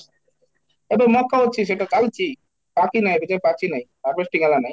ଏବେ ମକା ଅଛି ସେଇଟା ଖାଉଛି, ପାଚି ନାହିଁ ଏବେ ଯାଏ ପାଚି ନାହିଁ, harvest ଜଣା ନାହିଁ